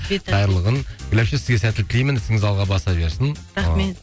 қайырлы күн гүл әпше сізге сәттілік тілеймін ісіңіз алға бас берсін рахмет